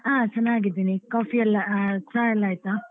ಹಾ ಚೆನ್ನಾಗಿದ್ದೀನಿ. Coffee ಎಲ್ಲ ಚಾ ಎಲ್ಲ ಆಯ್ತಾ?